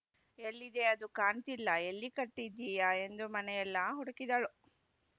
ಎಲ್ಲಿದೆ ಅದು ಕಾಣ್ತಿಲ್ಲ ಎಲ್ಲಿ ಕಟ್ಟಿದ್ದೀಯಾ ಎಂದು ಮನೆಯಲ್ಲಾ ಹುಡುಕಿದಳು